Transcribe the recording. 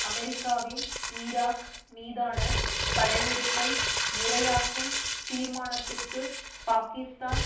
அமெரிக்காவின் ஈராக் மீதான படையெடுப்பை முறையாக்கும் தீர்மானத்திற்குப் பாகிஸ்தான்